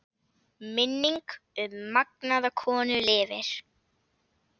Minning um magnaða konu lifir.